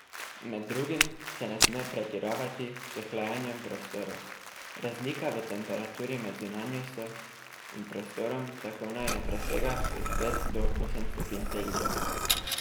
Med drugim se ne sme pretiravati s hlajenjem prostorov, razlika v temperaturi med zunanjostjo in prostorom tako naj ne presega od pet do osem stopinj Celzija.